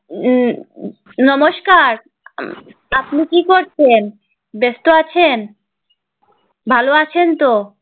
উম নমস্কার। উম আপনি কি করছেন? ব্যস্ত আছেন? ভালো আছেনতো?